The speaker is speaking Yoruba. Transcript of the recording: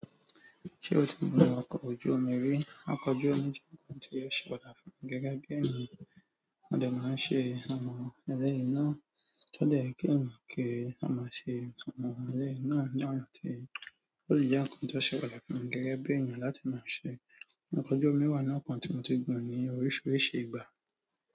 Ṣé o ti gun ọkọ̀ ojú omi rí, ọkọ̀ ojú omi jẹ́ ohun tí ó ṣe pàtàkì gẹ́gẹ́ bí ènìyàn mo dẹ máa ń ṣe àwọn eleyi náà, ti o dẹ yẹ ki ènìyàn ki o máa ṣe àwọn eleyi náà ni ọ̀nà ti ó ti jẹ́ ohun tó ṣe pàtàkì gẹ́gẹ́ bí ènìyàn láti máa ṣe. Ọkọ̀ ojú omi wà nínú nǹkan tí mo ti gun ní oríṣiríṣi ìgbà.